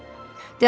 Yenə bax.